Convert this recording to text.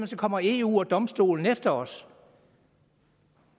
så kommer eu og domstolen efter os